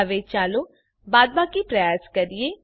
હવે ચાલો બાદબાકી પ્રયાસ કરીએ